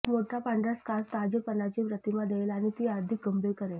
एक मोठा पांढरा स्कार्फ ताजेपणाची प्रतिमा देईल आणि ती अधिक गंभीर करेल